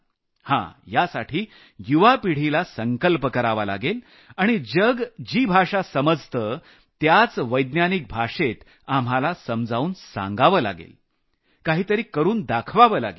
हा यासाठी युवा पिढीला संकल्प करावा लागेल आणि जग जी भाषा समजतं त्याच वैज्ञानिक भाषेत समजावून सांगावं लागेल काही तरी करून दाखवावं लागेल